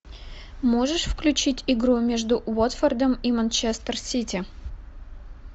можешь включить игру между уотфордом и манчестер сити